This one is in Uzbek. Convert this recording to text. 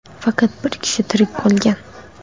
Faqat bir kishi tirik qolgan.